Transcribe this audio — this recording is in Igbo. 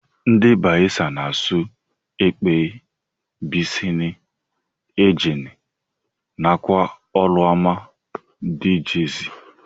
Ndi bayelsa na asụ ekpeye, biseni, engenn nakwa oruma dgz.